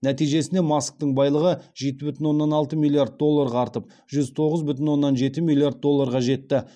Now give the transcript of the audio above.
нәтижесінде масктың байлығы жеті бүтін оннан алты миллиард долларға артып жүз тоғыз бүтін оннан жеті миллиард долларға жетті